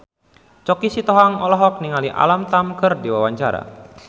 Choky Sitohang olohok ningali Alam Tam keur diwawancara